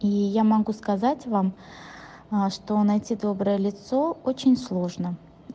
и я могу сказать вам что найти доброе лицо очень сложно